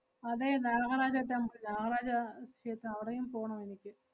അതെ നാഹരാജ temple നാഹരാജ ക്ഷേത്രം അവിടെയും പോണം എനിക്ക്.